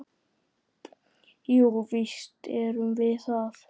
Jú, víst erum við það.